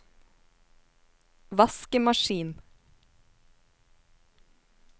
vaskemaskin